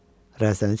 Rəzəni çəkdi.